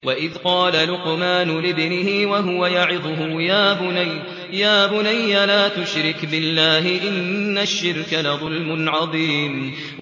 وَإِذْ قَالَ لُقْمَانُ لِابْنِهِ وَهُوَ يَعِظُهُ يَا بُنَيَّ لَا تُشْرِكْ بِاللَّهِ ۖ إِنَّ الشِّرْكَ لَظُلْمٌ عَظِيمٌ